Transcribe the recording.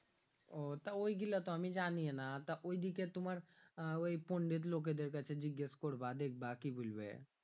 তা ওই গীলা তো আমি জানিয়ে না তা ওই দিকের তোমার ওই পন্ডিত লোকে দেড় কাছে জিজ্ঞেস করব দেখব কি বলবে